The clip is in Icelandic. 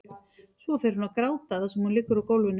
Svo fer hún að gráta þar sem hún liggur á gólfinu.